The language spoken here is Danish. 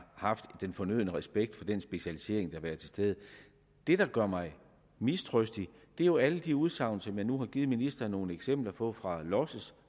haft den fornødne respekt for den specialisering der har været til stede det der gør mig mistrøstig er jo alle de udsagn som jeg nu har givet ministeren nogle eksempler på fra los